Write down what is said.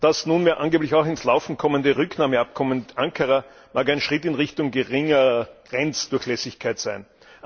Das nunmehr angeblich auch ins Laufen kommende Rücknahmeabkommen mit Ankara mag ein Schritt in Richtung geringerer Grenzdurchlässigkeit sein.